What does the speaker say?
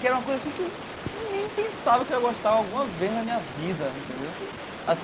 Que era uma coisa assim que eu nem pensava que eu ia gostar alguma vez na minha vida, entendeu?